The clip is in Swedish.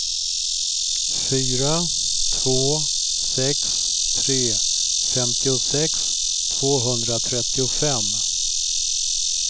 fyra två sex tre femtiosex tvåhundratrettiofem